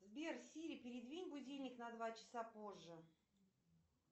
сбер сири передвинь будильник на два часа позже